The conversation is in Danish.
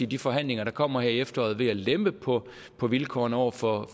de forhandlinger der kommer her i efteråret ved at lempe på på vilkårene over for